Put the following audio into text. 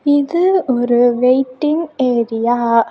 இது ஒரு waiting area .